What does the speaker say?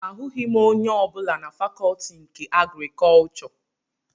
Ahụghị m onye ọbụla na fakọtị nke agrikọchọ